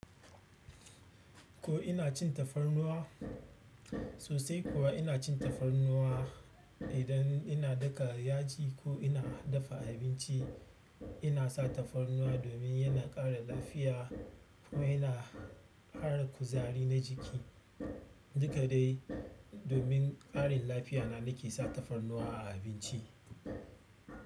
Ko ina cin tafarnuwa? Sosai kuwa ina cin tafarnuwa. Idan ina daka yaji ko ina dafa abinci ina sa tafannuwa domin yana ƙara lafia kuma ƙara kuzari na jiki. Duka dai domin ƙarin lafiya na nake sa tafarnuwa a abinci.